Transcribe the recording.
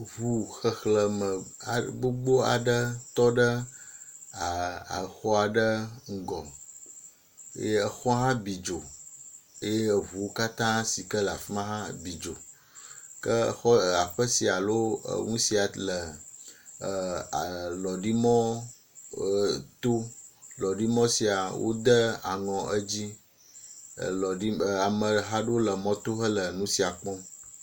Ŋu xexleme aɖe gbogbo aɖe tɔ ɖe a axɔ aɖe ŋgɔye xɔ hã bi dzo eye eŋu katã si ke le afi ma hã bidzo ke xɔ e aƒe sia enu sia le a e lɔɖi mɔ e to lɔɖimɔ sia wode aŋɔ edzi elɔɖi eameha aɖewo le mɔto hele nu siam kpɔm.